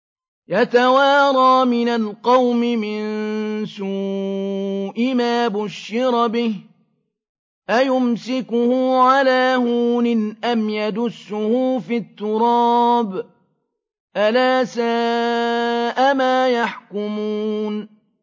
يَتَوَارَىٰ مِنَ الْقَوْمِ مِن سُوءِ مَا بُشِّرَ بِهِ ۚ أَيُمْسِكُهُ عَلَىٰ هُونٍ أَمْ يَدُسُّهُ فِي التُّرَابِ ۗ أَلَا سَاءَ مَا يَحْكُمُونَ